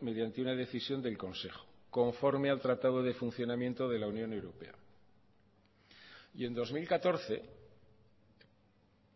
mediante una decisión del consejo conforme al tratado de funcionamiento de la unión europea y en dos mil catorce